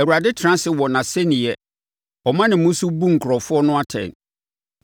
Awurade tena ase wɔ nʼasɛnniiɛ. Ɔma ne mu so bu nkurɔfoɔ no atɛn.